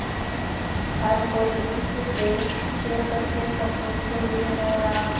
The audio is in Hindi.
हर कोई उस देश के सच्चे सपूत के लिए रो रहा था